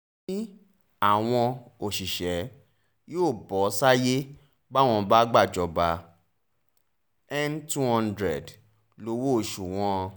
ó ní àwọn òṣìṣẹ́ yóò bọ́ sáyé báwọn bá gbàjọba n two hundred lowó-oṣù wọn